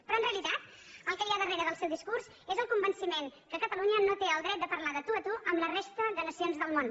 però en realitat el que hi ha darrere del seu discurs és el convenciment que catalunya no té el dret de parlar de tu a tu amb la resta de nacions del món